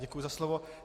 Děkuji za slovo.